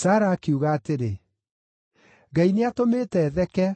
Sara akiuga atĩrĩ, “Ngai nĩatũmĩte theke,